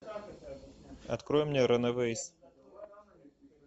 открой мне ранэвэйс